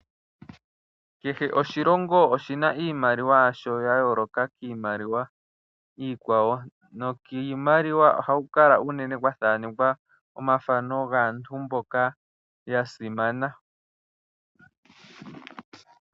Kehe oshilongo oshina iimaliwa yasho ya yooloka kiimaliwa iikwawo nokiimaliwa ohaku kala uunene kwa thaanekwa omafano gaantu mboka ya simana.